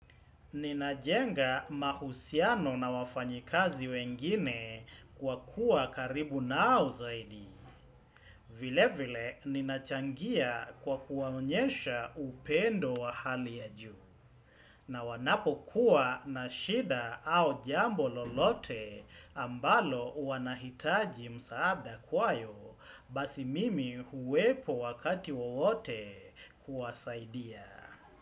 Ninajenga mahusiano na wafanyikazi wengine kwa kuwa karibu nao zaidi. Vile vile ninachangia kwa kuwaonyesha upendo wa hali ya juu. Na wanapokuwa na shida au jambo lolote ambalo wanahitaji msaada kwayo basi mimi huwepo wakati wowote kuwasaidia.